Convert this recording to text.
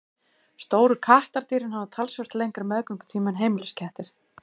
Stóru kattardýrin hafa talsvert lengri meðgöngutíma en heimiliskettir.